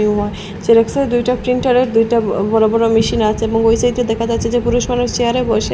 ওয়াস জেরক্সেরও দুইটা প্রিন্টারের দুইটা ব বড় বড় মেশিন আচে এবং ওই সাইদে দেখা যাচ্ছে যে পুরুষ মানুষ চেয়ারে বসে--